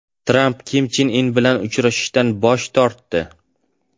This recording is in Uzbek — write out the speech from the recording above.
Tramp Kim Chen In bilan uchrashishdan bosh tortdi.